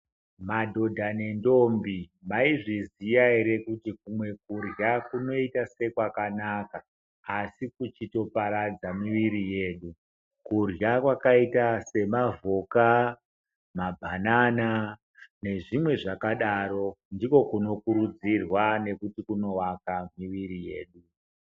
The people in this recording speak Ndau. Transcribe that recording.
Madhodha nendombi, maizviziya ere kuti kumwe kurya kunoita sekwakanaka, asi kuchitoparadza miviri yedu? Kurya kwaakaita semavhoka, mabhanana, nezvimwe zvakadaro, ndiko kunokurudzirwa nekuti kunovaka miviri yedu.